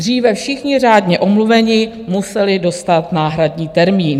Dříve všichni řádně omluvení museli dostat náhradní termín.